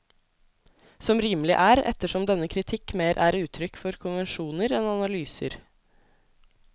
Som rimelig er, ettersom denne kritikk mer er uttrykk for konvensjoner enn analyser.